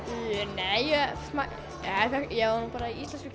nei ég var nú bara í íslensku